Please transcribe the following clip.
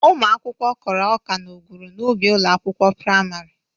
Ụmụ akwụkwọ kụrụ ọka na ọgwụrụ n'ubi ụlọ akwụkwọ prịmarị.